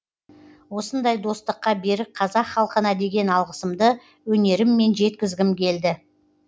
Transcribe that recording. осындай достыққа берік қазақ халқына деген алғысымды өнеріммен жеткізгім келді